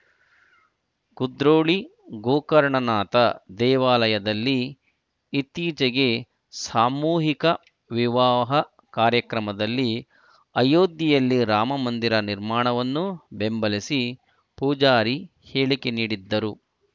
ಕುದ್ರೋಳಿ ಗೋಕರ್ಣನಾಥ ದೇವಾಲಯದಲ್ಲಿ ಇತ್ತೀಚೆಗೆ ಸಾಮೂಹಿಕ ವಿವಾಹ ಕಾರ್ಯಕ್ರಮದಲ್ಲಿ ಅಯೋಧ್ಯೆಯಲ್ಲಿ ರಾಮ ಮಂದಿರ ನಿರ್ಮಾಣವನ್ನು ಬೆಂಬಲಿಸಿ ಪೂಜಾರಿ ಹೇಳಿಕೆ ನೀಡಿದ್ದರು